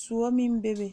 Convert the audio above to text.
soɔ meŋ bebe.